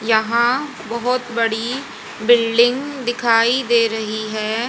यहां बहोत बड़ी बिल्डिंग दिखाई दे रही है।